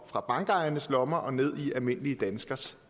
fra bankernes lommer og ned i almindelige danskeres